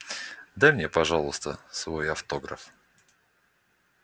дай мне пожалуйста свой автограф